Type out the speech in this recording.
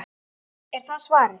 Er það svarið?